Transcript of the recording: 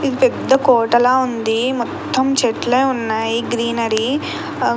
ఇది పెద్ద కోటలా ఉంది మొత్తం చెట్లే ఉన్నాయి గ్రీనరీ --